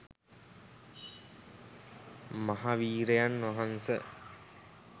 මහ වීරයන් වහන්ස